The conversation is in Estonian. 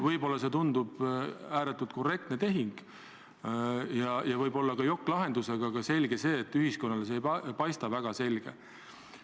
Võib-olla tundub see ääretult korrektse tehinguna ja võib-olla ka jokk-lahendusena, aga selge see, et ühiskonnale ei paista see väga selgena.